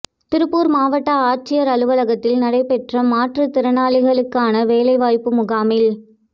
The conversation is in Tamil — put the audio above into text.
திருப்பூா் மாவட்ட ஆட்சியா் அலுவலகத்தில் நடைபெற்ற மாற்றுத் திறனாளிகளுக்கான வேலை வாய்ப்பு முகாமில்